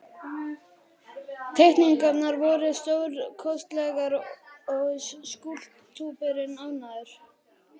Teikningarnar voru stórkostlegar og skúlptúrinn ágætur.